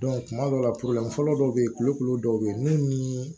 kuma dɔw la fɔlɔ dɔw be yen kulukolo dɔw be yen munnu ni